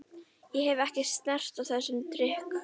Ég hef ekki snert á þessum drykk.